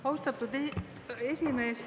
Austatud esimees!